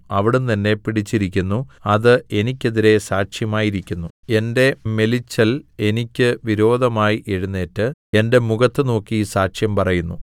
അവിടുന്ന് എന്നെ പിടിച്ചിരിക്കുന്നു അത് എനിക്കെതിരെ സാക്ഷ്യമായിരിക്കുന്നു എന്റെ മെലിച്ചൽ എനിയ്ക്ക് വിരോധമായി എഴുന്നേറ്റ് എന്റെ മുഖത്തു നോക്കി സാക്ഷ്യം പറയുന്നു